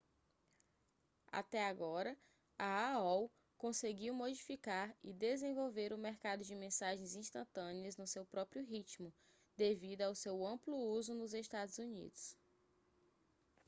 até agora a aol conseguiu modificar e desenvolver o mercado de mensagens instantâneas no seu próprio ritmo devido ao seu amplo uso nos estados unidos